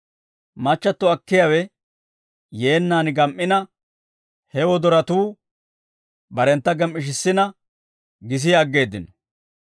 Machchatto akkiyaawe yeennaan gam"ina, he wodoratuu barentta gem"ishissina gisi aggeeddino.